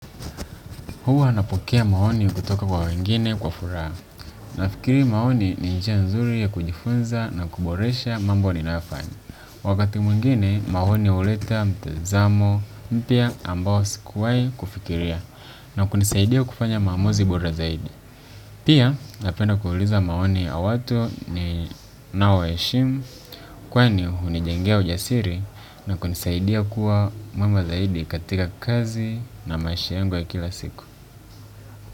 Huwa napokea maoni kutoka kwa wengine kwa furaha. Nafikiri maoni ni njia nzuri ya kujifunza na kuboresha mambo ninayofanya. Wakati mwingine maoni huleta mtazamo mpya ambao sikuwai kufikiria na kunisaidia kufanya maamozi bora zaidi. Pia napenda kuuliza maoni ya watu ni nao ya heshimu kwani hunijengea ujasiri na kunisaidia kuwa mwema zaidi katika kazi na maisha yangu ya kila siku.